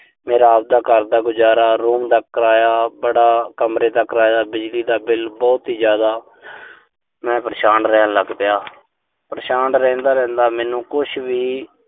ਮੇਰਾ ਅਬਦਾ ਘਰ ਦਾ ਗੁਜ਼ਾਰਾ, room ਦਾ ਕਿਰਾਇਆ ਬੜਾ, ਕਮਰੇ ਦਾ ਕਿਰਾਇਆ, ਬਿਜਲੀ ਦਾ ਬਿੱਲ ਬਹੁਤ ਹੀ ਜ਼ਿਆਦਾ ਮੈਂ ਪਰੇਸ਼ਾਨ ਰਹਿਣ ਲੱਗ ਪਿਆ। ਪਰੇਸ਼ਾਨ ਰਹਿੰਦਾ-ਰਹਿੰਦਾ, ਮੈਨੂੰ ਕੁਸ਼ ਵੀ।